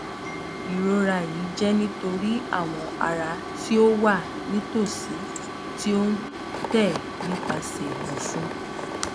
irora yii jẹ nitori awọn ara ti o wa nitosi ti o n tẹ nipasẹ ọfun